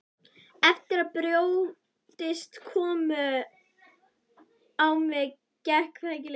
Eftir að brjóstin komu á mig gekk það ekki lengur.